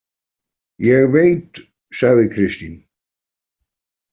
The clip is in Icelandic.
Ég veit, sagði Kristín.